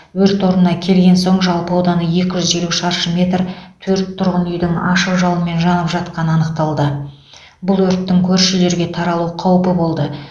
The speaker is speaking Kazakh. өрт орнына келген соң жалпы ауданы екі жүз елу шаршы метр төрт тұрғын үйдің ашық жалынмен жанып жатқаны анықталды бұл өрттің көрші үйлерге таралу қаупі болды